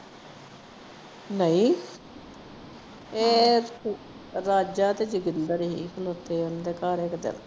ਨਹੀਂ ਇਹ ਰਾਜਾ ਤੇ ਜੋਗਿੰਦਰ ਹੀ